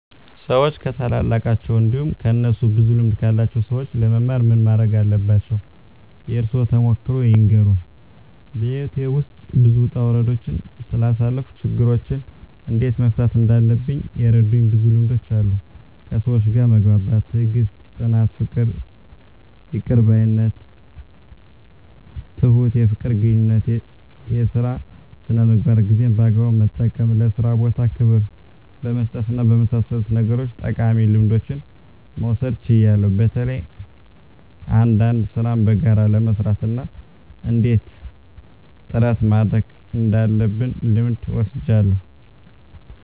ሰዎች ከታላላቃቸው እንዲሁም ከእነሱ ብዙ ልምድ ካላቸው ሰዎች ለመማር ምን ማረግ አለባቸው? የእርሶን ተሞክሮ ይንገሩን? *በሕይወቴ ውስጥ ብዙ ውጣ ውረዶችን ስላሳለፍኩ፣ ችግሮችን እንዴት መፍታት እንዳለብኝ የረዱኝ ብዙ ልምዶች አሉ፤ ከሰዎች ጋር መግባባት፣ ትዕግስት፣ ጽናት፣ ይቅር ባይነት፣ ትሁት፣ የፍቅር ግንኙነት፣ የሥራ ሥነ ምግባር፣ ጊዜን በአግባቡ መጠቀም፣ ለሥራ ቦታ ክብር በመስጠትና በመሳሰሉት ነገሮች ጠቃሚ ልምዶችን መውሰድ ችያለሁ። በተለይ አንዳንድ ሥራን በጋራ ለመሥራት እና እንዴት ጥረት ማድረግ እንዳለብ ልምድ ወስጃለሁ።